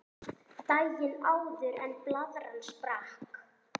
Daginn áður en blaðran sprakk.